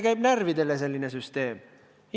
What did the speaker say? Sest inimestele käib selline süsteem närvidele.